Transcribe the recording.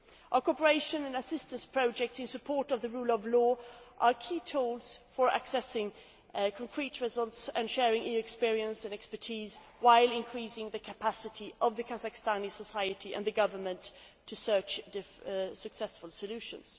Our cooperation and assistance projects in support of the rule of law are key tools for accessing concrete results and sharing EU experience and expertise, while increasing the capacity of Kazakh society and the government to search for successful solutions.